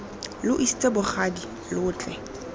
lo isitse bogadi lo tle